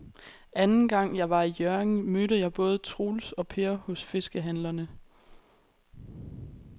Anden gang jeg var i Hjørring, mødte jeg både Troels og Per hos fiskehandlerne.